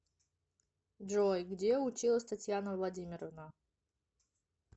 джой где училась татьяна владимировна